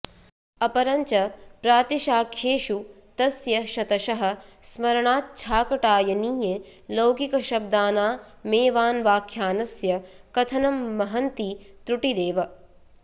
अपरञ्च प्रातिशाख्येषु तस्य शतशः स्मरणाच्छाकटायनीये लौकिकशब्दानामेवान्वाख्यानस्य कथनं महंती त्रुटिरेव